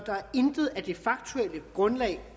intet af det faktuelle grundlag